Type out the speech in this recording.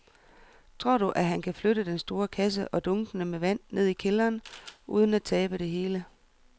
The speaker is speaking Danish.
Tror du, at han kan flytte den store kasse og dunkene med vand ned i kælderen uden at tabe det hele?